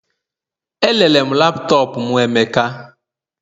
Erere m laptop m emeka